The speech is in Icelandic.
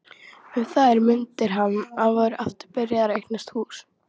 Um þær mundir var hann aftur byrjaður að eignast hús.